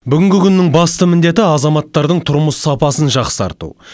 бүгінгі күннің басты міндеті азаматтардың тұрмыс сапасын жақсарту